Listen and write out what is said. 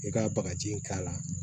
I ka bagaji in k'a la